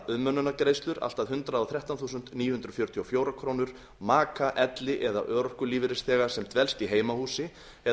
umönnunargreiðslur allt að hundrað og þrettán þúsund níu hundruð fjörutíu og fjórar krónur maka elli eða örorkulífeyrisþega sem dvelst í heimahúsi eða